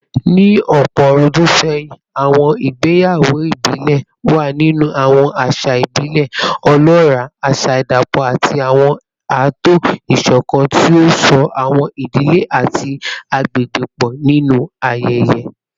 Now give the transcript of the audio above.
Ní ọ̀pọ̀ ọ̀rúndún sẹ́yìn, àwọn ìgbéyàwó ìbílẹ̀ wà nínú àwọn àṣà ìbílẹ̀ ọlọ́ràá, àṣà ìdapọ̀ àti àwọn ààtò ìṣọ̀kan tí ó so àwọn ìdílé àti àgbègbè pọ̀ nínú ayẹyẹ